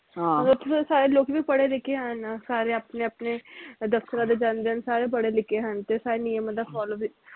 ਓਥੋਂ ਦੇ ਸਾਰੇ ਲੋਕੀ ਵੀ ਪੜੇ ਲਿਖੇ ਹਨ ਸਾਰੇ ਆਪਣੇ ਆਪਣੇ ਦਫਤਰਾਂ ਤੇ ਜਾਂਦੇ ਹਨ ਸਾਰੇ ਪੜੇ ਲਿਖੇ ਹਨ ਤੇ ਸਾਰੇ ਨਿਯਮਾਂ ਦਾ follow ਵੀ